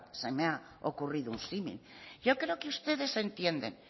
se me ha ocurrido un símil yo creo que ustedes entienden